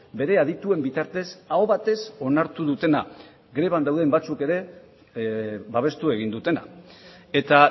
bere adituen bitartez aho batez onartu dutena greban dauden batzuk ere babestu egin dutena eta